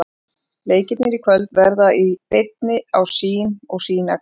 Leikirnir í kvöld verða í beinni á Sýn og Sýn Extra.